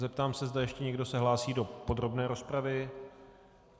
Zeptám se, zda ještě někdo se hlásí do podrobné rozpravy.